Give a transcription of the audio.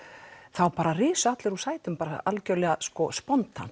þá risu allir úr sætum algjörlega